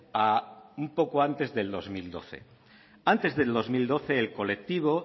a un poco antes del dos mil doce antes del dos mil doce el colectivo